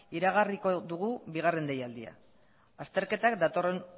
iragarriko dugu bigarren deialdia azterketak datorren